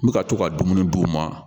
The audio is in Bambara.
N bɛ ka to ka dumuni d'u ma